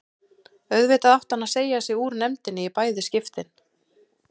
Auðvitað átti hann að segja sig úr nefndinni í bæði skiptin.